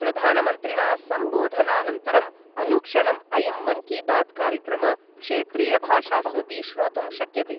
प्रधानमन्त्रिण सम्बोधनानन्तरम् अनुक्षणम् अयं मन् की बात् कार्यक्रम क्षेत्रीयभाषास्वपि श्रोतुं शक्यते।